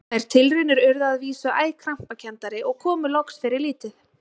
Þær tilraunir urðu að vísu æ krampakenndari og komu loks fyrir lítið.